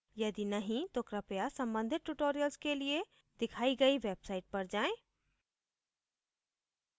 यदि नहीं तो कृपया संबंधित tutorials के लिए दिखाई गई website पर जाएँ